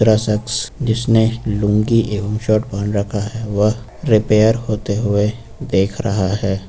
यह शख्स जिसने लूंगी एवं शर्ट पहन रखा है वह रिपेयर होते हुए देख रहा है।